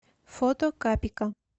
фото капика